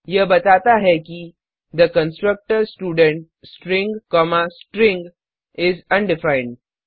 यह बताता है किThe constructor student string comma string is undefined